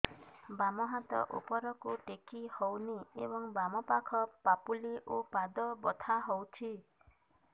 ବାମ ହାତ ଉପରକୁ ଟେକି ହଉନି ଏବଂ ବାମ ପାଖ ପାପୁଲି ଓ ପାଦ ବଥା ହଉଚି